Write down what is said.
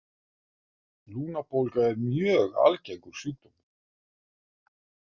Lungnabólga er mjög algengur sjúkdómur.